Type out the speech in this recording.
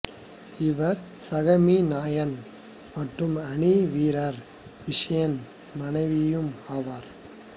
இவர் சக மீநாயகன் மற்றும் அணி வீரர் விஷனின் மனைவியும் ஆவார்